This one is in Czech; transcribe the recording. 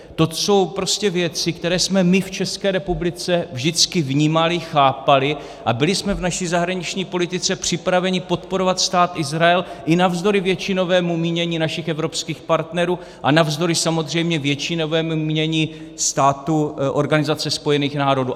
To jsou prostě věci, které jsme my v České republice vždycky vnímali, chápali, a byli jsme v naší zahraniční politice připraveni podporovat Stát Izrael i navzdory většinovému mínění našich evropských partnerů a navzdory samozřejmě většinovému mínění států Organizace spojených národů.